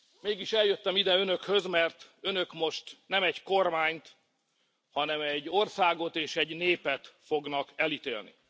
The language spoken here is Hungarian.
Mégis eljöttem ide Önökhöz, mert Önök most nem egy kormányt, hanem egy országot és egy népet fognak elítélni.